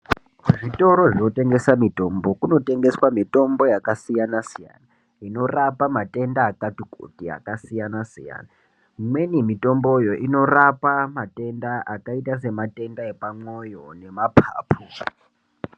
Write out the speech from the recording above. Kuzvitoro zvinotengese mitombo kunotengeswe mitombo yakasiyana siyana inorapa matenda akati kuti akasiyana siyana imweni mitomboyo inorapa matenda akaita sematenda epamwoyo nemapapu.